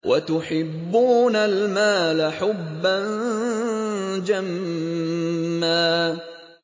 وَتُحِبُّونَ الْمَالَ حُبًّا جَمًّا